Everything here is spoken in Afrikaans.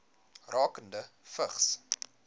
rakende vigs